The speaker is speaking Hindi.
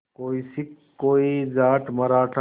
कोई सिख कोई जाट मराठा